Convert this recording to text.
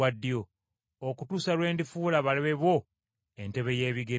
okutuusa lwe ndifuula abalabe bo entebe y’ebigere byo.” ’